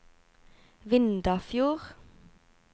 Vindafjord